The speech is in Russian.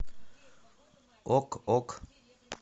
ок ок